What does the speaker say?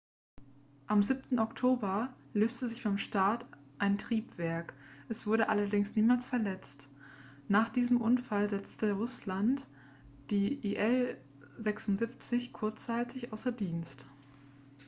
am 7. oktober löste sich beim start ein triebwerk es wurde allerdings niemand verletzt nach diesem unfall setzte russland die il-76 kurzzeitig außer dienst